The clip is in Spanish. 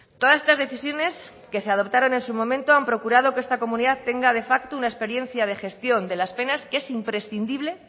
todas estas decisiones que se adoptaron en su momento han procurado que esta comunidad tenga de facto una experiencia de gestión de las penas que es imprescindible